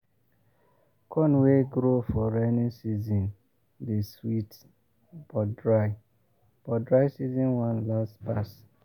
corn wey grow for rainy season dey sweet but dry but dry season one last pass.